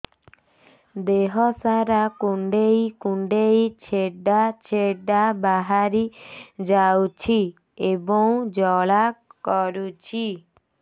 ଦେହ ସାରା କୁଣ୍ଡେଇ କୁଣ୍ଡେଇ ଛେଡ଼ା ଛେଡ଼ା ବାହାରି ଯାଉଛି ଏବଂ ଜ୍ୱାଳା କରୁଛି